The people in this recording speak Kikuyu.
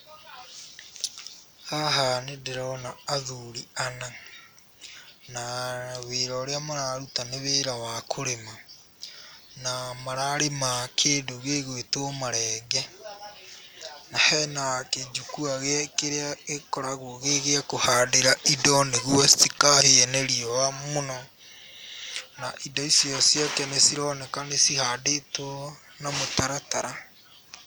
Haha nĩ ndĩrona athuri ana na wĩra ũrĩa mararuta nĩ wĩra wa kũrĩma na mararĩma kĩndũ gĩgwĩtwo marenge. Hena kĩnjukua kĩrĩa gĩkoragwo gĩ gĩa kũhandĩra indo nĩguo citikahie nĩ riũa mũno na indo icio ciake nĩ cironeka nĩ cihandĩtwo na mũtaratara.